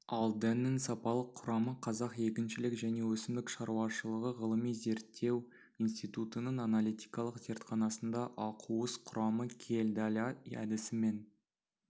ал дәннің сапалық құрамы қазақ егіншілік және өсімдік шаруашылығы ғылыми зерттеу институының аналитикалық зертханасында ақуыз құрамы кьельдаля әдісімен